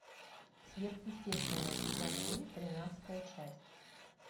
сверхъестественное сезон три тринадцатая часть